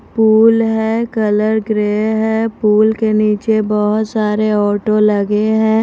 Pool है colour grey है pool के नीचे बहुत सारे ऑटो लगे हैं।